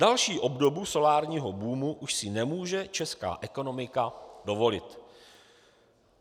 Další obdobu solárního boomu už si nemůže česká ekonomika dovolit.